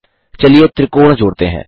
चलिए त्रिकोण जोड़ते हैं